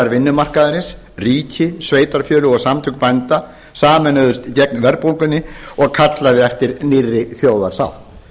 vinnumarkaðarins ríki sveitarfélög og samtök bænda sameinuðust gegn verðbólgunni og kallaði eftir nýrri þjóðarsátt